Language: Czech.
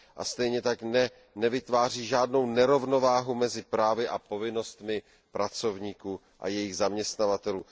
Stejně tak nevytváří žádnou nerovnováhu mezi právy a povinnostmi pracovníků a jejich zaměstnavatelů.